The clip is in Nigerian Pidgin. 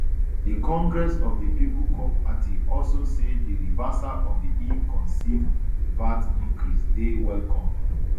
di congress of di people cope party also say di reversal of illconceived vat increase dey welcomed